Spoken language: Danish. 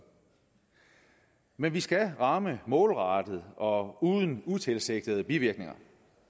men vi skal ramme målrettet og uden utilsigtede bivirkninger